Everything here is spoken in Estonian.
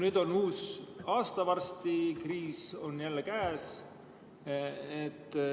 Nüüd on varsti uus aasta, kriis on jälle käes.